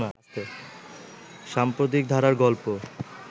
সাম্প্রতিক ধারার গল্প